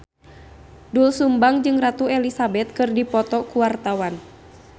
Doel Sumbang jeung Ratu Elizabeth keur dipoto ku wartawan